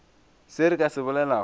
se re ka se bolelago